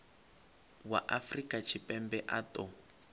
wa afrika tshipembe a ṱo